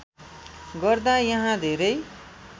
गर्दा यहाँ धेरै